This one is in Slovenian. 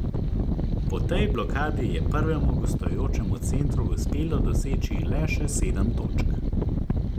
Po tej blokadi je prvemu gostujočemu centru uspelo doseči le še sedem točk.